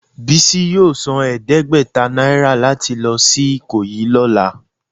Bisi yọọ sán ẹdẹgbẹta naira latí lọ si ikoyi lọla.